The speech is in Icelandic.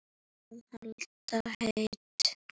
Að halda heit